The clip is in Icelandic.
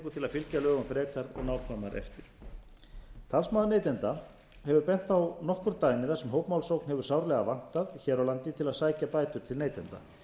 til að fylgja lögum frekar og nákvæmar eftir talsmaður neytenda hefur bent á nokkur dæmi þar sem hópmálsókn hefur sárlega vantað hér á landi til að sækja bætur til neytenda